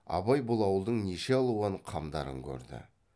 абай бұл ауылдың неше алуан қамдарын көрді